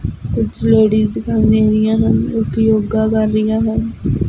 ਕੁਛ ਲੇਡੀਜ ਦਿਖਾਈ ਦੇ ਰਹੀਆਂ ਹਨ ਕੁਛ ਯੋਗਾ ਕਰ ਰਹੀਆਂ ਹਨ।